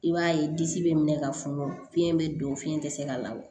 I b'a ye disi bɛ minɛ ka funu fiɲɛ bɛ don fiɲɛ tɛ se ka labɔ